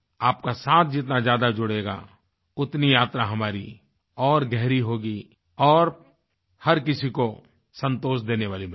आपका साथ जितना ज्यादा जुड़ेगा उतनी यात्रा हमारी और गहरी होगी और हर किसी को संतोष देनेवाली मिलेगी